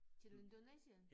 Til Indonesien